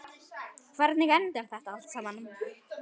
Hvernig endar þetta allt saman?